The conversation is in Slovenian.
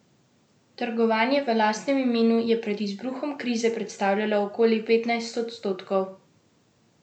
Trgovanje v lastnem imenu je pred izbruhom krize predstavljalo okoli petnajst odstotkov bančnih bilanc.